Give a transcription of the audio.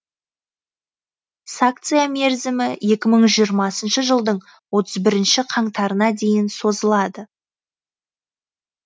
сакция мерзімі екі мың жиырмасыншы жылдың отыз бірінші қаңтарына дейін созылады